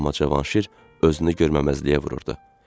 Amma Cavanşir özünü görməməzliyə vururdu.